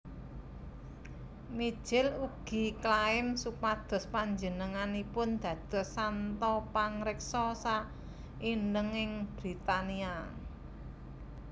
Mijil ugi klaim supados panjenenganipun dados santo pangreksa saindhenging Britania